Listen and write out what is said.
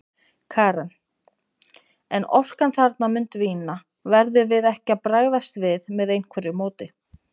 Karen: En orkan þarna mun dvína, verðum við ekki að bregðast við með einhverju móti?